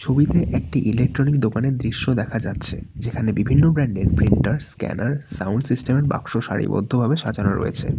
ছবিতে একটি ইলেকট্রনিক্স দোকানের দৃশ্য দেখা যাচ্ছে যেখানে বিভিন্ন ব্র্যান্ড -এর প্রিন্টার স্ক্যানার সাউন্ড সিস্টেম -এর বাক্স সারিবদ্ধভাবে সাজানো রয়েছে।